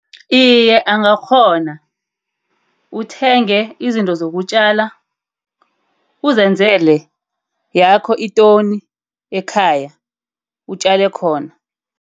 Iye angakghona. Uthenge izinto zokutjala uzenzele yakho intoni ekhaya, utjale khona.